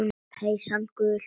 Peysan gul.